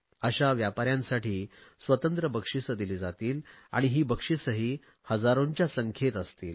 अशा व्यापाऱ्यांसाठीही स्वतंत्र बक्षिसे दिली जातील आणि ही बक्षिसेही हजारोंच्या संख्येत असतील